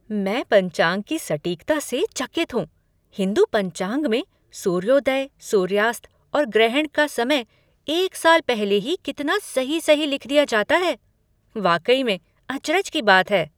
मैं पंचांग की सटीकता से चकित हूँ, हिंदू पंचांग में सूर्योदय, सूर्यास्त और ग्रहण का समय एक साल पहले ही कितना सही सही लिख दिया जाता है, वाकई में अचरज की बात है।